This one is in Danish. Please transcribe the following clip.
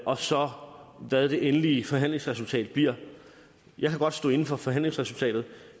og så hvad det endelige forhandlingsresultat bliver jeg kan godt stå inde for forhandlingsresultatet